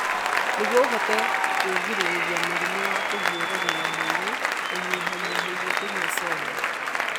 Nĩguo ũhote kwĩgirĩrĩria mũrimũ wa kũhiũrania na mwĩrĩ, ũnyihanyihĩrie kũnyua soda.